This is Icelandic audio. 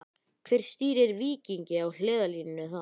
Hver stýrir Víkingi á hliðarlínunni þar?